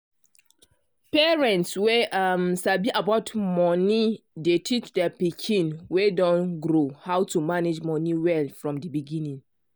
parents wey um sabi about money dey teach dia pikin wey don grow how to manage money well from di beginning.